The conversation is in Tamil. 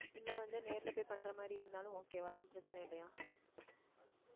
இல்லை வந்து நேரிலே போய் பண்ற மாதிரி இருந்தாலும் okay வா எதுவும் பிரச்சனை இல்லையா